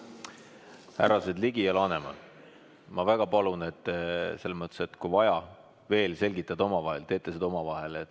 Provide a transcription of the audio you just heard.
Härrased Ligi ja Laneman, ma väga palun, et kui vaja, siis te veel selgitate omavahel, teete seda omavahel.